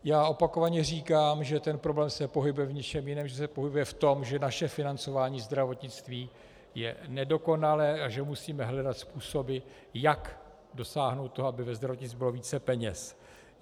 Já opakovaně říkám, že ten problém se pohybuje v něčem jiném, že se pohybuje v tom, že naše financování zdravotnictví je nedokonalé a že musíme hledat způsoby, jak dosáhnout toho, aby ve zdravotnictví bylo více peněz.